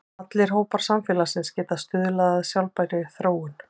Allir hópar samfélagsins geta stuðlað að sjálfbærri þróun.